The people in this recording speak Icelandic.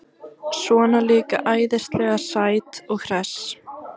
Svona líka æðislega sæt og hress.